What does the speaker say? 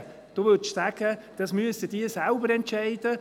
Sie würden sagen: «Das müssen sie selber entscheiden.